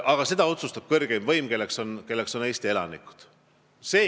Aga otsuse teeb kõrgeim võim, kelleks on Eesti elanikud.